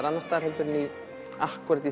annars staðar en í akkúrat